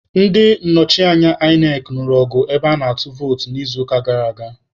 Ndị nnọchiteanya INEC nụrụ ọgụ ebe ana-atụ vootu n'izuụka gara aga.